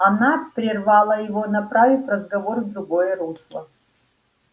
она прервала его направив разговор в другое русло